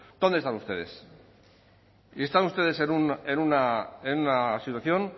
dónde están ustedes y están ustedes en una situación